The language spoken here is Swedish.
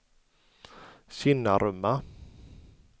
Kinnarumma